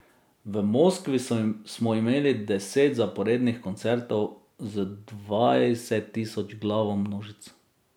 V Moskvi smo imeli deset zaporednih koncertov z dvajsettisočglavo množico.